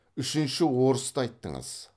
үшінші орысты айттыңыз